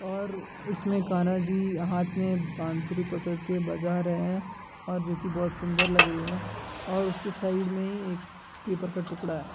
और इसमें कान्हा जी हाथ में बांसुरी पकड़ के बजा रहे हैं और जो कि बहुत सुंदर लग रही है और उसके साइड में ही एक पेपर का टुकड़ा है।